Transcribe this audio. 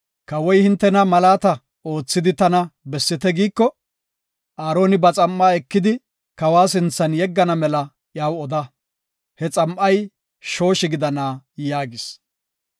“Kawoy hintena, malaata oothidi tana bessite giiko, Aaroni ba xam7a ekidi kawa sinthan yeggana mela iyaw oda; he xam7ay shooshi gidana” yaagis.